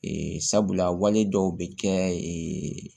sabula wale dɔw bɛ kɛ